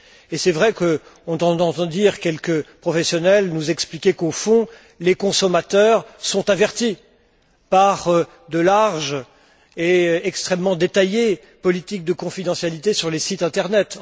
Et c'est vrai qu'on entend quelques professionnels nous expliquer qu'au fond, les consommateurs sont avertis par de larges et extrêmement détaillées politiques de confidentialité sur les sites Internet.